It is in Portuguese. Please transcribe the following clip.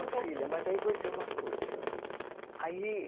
Filha, mas daí vou dizer uma coisa. Aí